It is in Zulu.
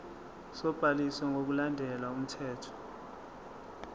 sobhaliso ngokulandela umthetho